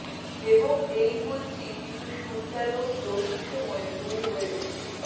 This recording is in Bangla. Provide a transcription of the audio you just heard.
এবং এই বলছি কিছু সূর্যালোক গ্রহণ সময় ভুল হয়ে ওঠে